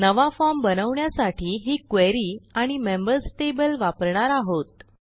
नवा फॉर्म बनवण्यासाठी ही क्वेरी आणि मेंबर्स टेबल वापरणार आहोत